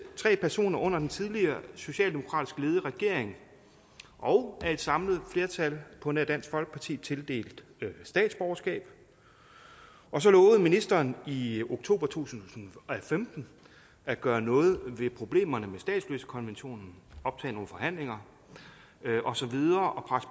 tre personer under den tidligere socialdemokratisk ledede regering og af et samlet flertal på nær dansk folkeparti tildelt statsborgerskab og så lovede ministeren i oktober to tusind og femten at gøre noget ved problemerne med statsløsekonventionen optage nogle forhandlinger og så videre